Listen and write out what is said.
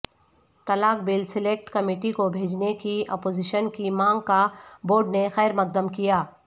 طلاق bill select committee کو بھیجنے کی اپوزیشن کی مانگ کا بورڈ نے خیرمقدم کیا